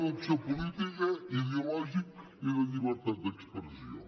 d’acció política ideològica i de llibertat d’expressió